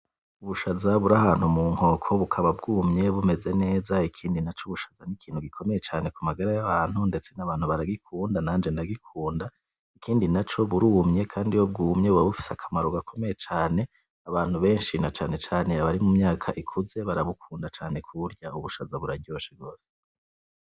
Ubushaza burahantu mu nkoko bukaba bwumye bumeze neza ikindi naco ubushaza n’ikintu gikomeye cane ku magara y’abantu ndetse n’abantu baragikunda nanje ndagikunda ikindi naco burumye kandi iyo bwumye buba bufise akamaro gakomeye cane abantu benshi na cane cane abari mu myaka ikuze barabukunda cane kuburya ubushaza buraryoshe gwose.